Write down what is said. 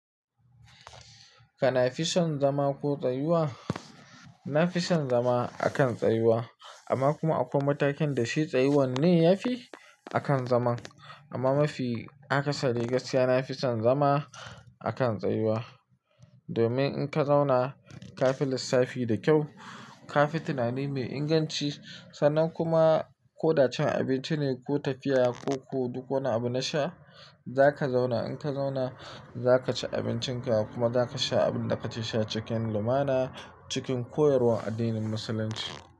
Kana fison zama ko tsayuwa? Na fi son zama a kan tsayuwa amma kuma akwai matakin da shi tsayuwan ne ya fi a kan zaman. Amma mafi akasari gaskiya na fi son zama a kan tsayuwa domin in ka zauna ka fi lissafi da kyau, ka fi tunani mai inganci sannan kuma ko da cin abinci ne ko tafiya ko ku duk wani abu na sha za ka zauna. In ka zauna za ka ci abincinka kuma za ka sha abin da ka ke sha cikin lumana cikin koyarwar addinin musulunci.